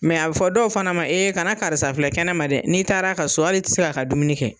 a bɛ fɔ dɔw fana ma kana karisa filɛ kɛnɛma dɛ, n'i taar'a ka so hal'i ti se k'a ka dumuni kɛ.